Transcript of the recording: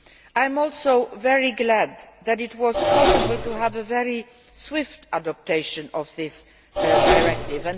I am also very glad that it was possible to have a very swift adoption of this directive.